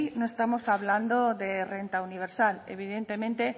no estamos hablando de renta universal evidentemente